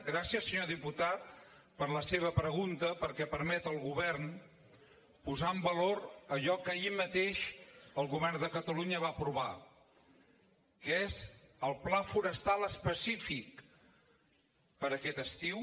gràcies senyor diputat per la seva pregunta perquè permet al govern posar en valor allò que ahir mateix el govern de catalunya va aprovar que és el pla forestal específic per a aquest estiu